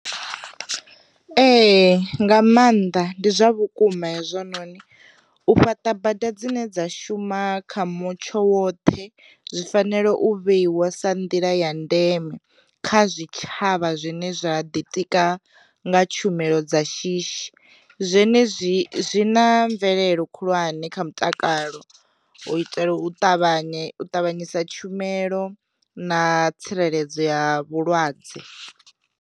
Ee nga maanḓa ndi zwa vhukuma hezwononi. U fhaṱa bada dzine dza shuma kha mutsho woṱhe zwi fanela u vheiwa sa nḓila ya ndeme kha zwitshavha zwine zwa ḓitika nga tshumelo dza shishi, zwenezwi zwi na mvelelo khulwane kha mutakalo u itela u ṱavhanye u tavhanyisa tshumelo na tsireledzo ya vhulwadze.